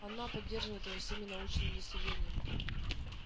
оно поддерживает его всеми научными достижениями